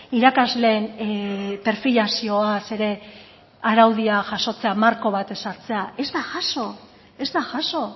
irakasleen perfilazioaz ere araudia jasotzea marko bat ezartzea ez da jaso ez da jaso